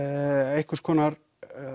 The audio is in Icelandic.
einhvers konar eða